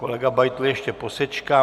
Kolega Beitl ještě posečká.